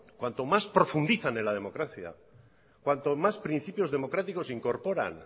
cuanto más profundizan en la democracia cuanto más principios democráticos incorporan